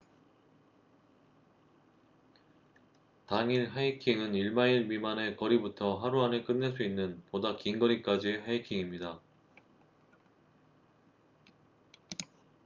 당일 하이킹은 1마일 미만의 거리부터 하루 안에 끝낼 수 있는 보다 긴 거리까지의 하이킹입니다